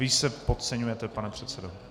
Vy se podceňujete, pane předsedo.